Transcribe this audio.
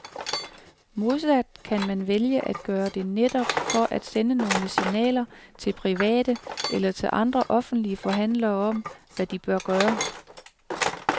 Modsat kan man vælge at gøre det netop for at sende nogle signaler til private eller til andre offentlige forhandlere om, hvad de bør gøre.